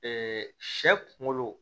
sɛ kunkolo